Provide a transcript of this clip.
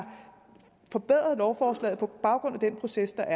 forbedret lovforslaget på baggrund af den proces der